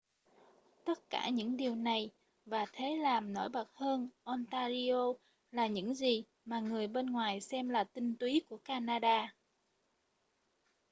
tất cả những điều này và thế làm nổi bật hơn ontario là những gì mà người bên ngoài xem là tinh túy của canada